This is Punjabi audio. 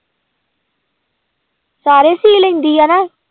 ਸਾਰੇ ਸੀ ਲੈਂਦੀ ਆ ਹਨਾ?